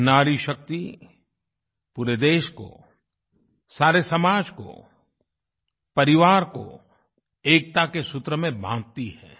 यह नारी शक्ति पूरे देश को सारे समाज को परिवार को एकता के सूत्र में बाँधती है